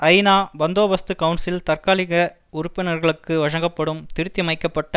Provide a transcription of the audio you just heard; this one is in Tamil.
ஐநா பந்தோபஸ்து கவுன்சில் தற்காலிக உறுப்பினர்களுக்கு வழங்கப்படும் திருத்தியமைக்கப்பட்ட